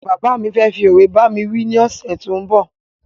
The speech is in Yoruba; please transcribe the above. Bàbá fẹ fí ọ̀we bámi wí ni ọsẹ tó ń bọ̀